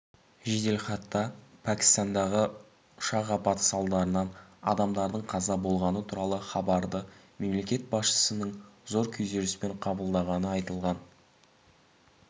жеделхатта пәкістандағы ұшақ апаты салдарынан адамдардың қаза болғаны туралы хабарды мемлекет басшысының зор күйзеліспен қабылдағаны айтылған